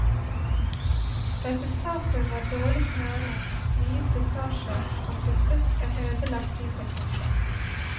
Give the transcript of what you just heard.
Resultatet var dårlig smøring, mye slitasje, og til slutt en ødelagt dieselpumpe.